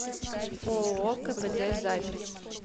ооо кпд запись